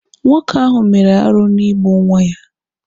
Nwoke ahụ mere arụ n'igbu nwa ya